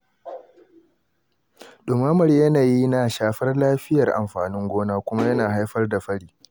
Ɗumamar yanayi na shafar lafiyar amfanin gona, kuma yana haifar da fari.